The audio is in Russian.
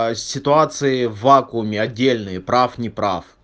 а ситуации в вакууме отдельные прав не прав